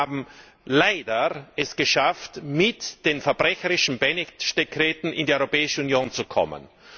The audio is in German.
Die Tschechen haben es leider geschafft, mit den verbrecherischen Beneš Dekreten in die Europäische Union zu kommen.